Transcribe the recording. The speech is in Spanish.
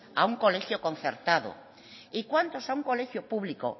a un colegio concertado y cuántos a un colegio público